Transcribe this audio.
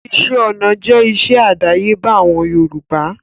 Iṣẹ́ ọná jẹ́ iṣẹ́ àdáyébá àwọn Yorùbá